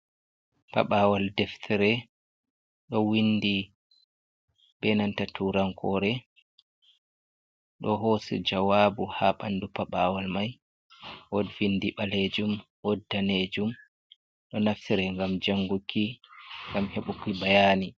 Paɓawal deftere ɗo windi be nanta turankore ɗo hosi jawabu ha bandu paɓawal mai wodvindi ɓalejum, wod danejum, ɗo naftere gam jangunki, ngam heɓuki bayani.